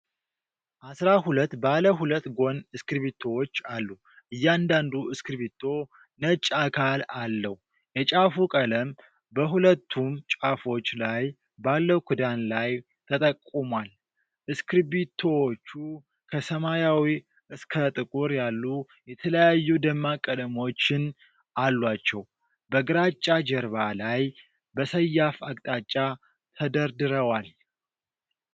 አስራ-ሁለት ባለ ሁለት ጎን እስክሪብቶዎች አሉ። እያንዳንዱ እስክሪብቶ ነጭ አካል አለው፣ የጫፉ ቀለም በሁለቱም ጫፎች ላይ ባለው ክዳን ላይ ተጠቁሟል። እስክሪብቶዎቹ ከሰማያዊ እስከ ጥቁር ያሉ የተለያዩ ደማቅ ቀለሞችን አሏቸው፤ በግራጫ ጀርባ ላይ በሰያፍ አቅጣጫ ተደርድረዋል።